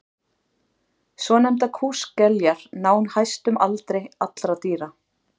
svonefndar kúskeljar ná hæstum aldri allra dýra